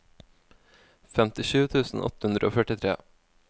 femtisju tusen åtte hundre og førtitre